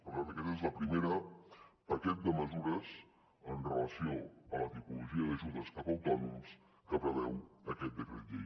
per tant aquest és el primer paquet de mesures amb relació a la tipologia d’ajudes cap a autònoms que preveu aquest decret llei